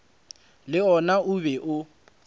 le wona o be o